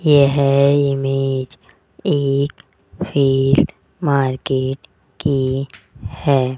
यह इमेज एक field market की है।